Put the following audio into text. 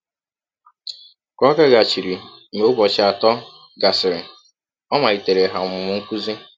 Ka ọ gaghachiri mgbe ụbọchị atọ gasịrị, ọ maliteere ha ọmụmụ nkụzi.